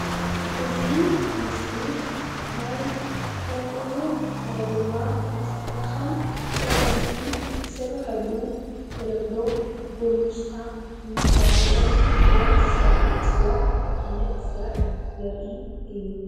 እዚ ምስሊ ናይ ዝተፈላለዩ ናይ ጎማ ዝስረሐሉ ብተለምዶ ጎሚስታ እንዳተባሃለ ናይ ዝፅዋዕ ዓይነት ስራሕ ዘርኢ ምስሊ እዩ፡፡